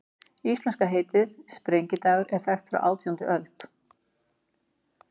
Íslenska heitið, sprengidagur, er þekkt frá átjándu öld.